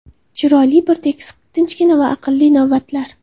Chiroyli, bir tekis, tinchgina va aqlli navbatlar.